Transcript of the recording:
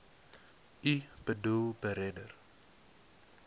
u boedel beredder